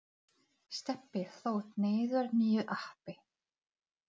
Veistu hvað er langt þangað?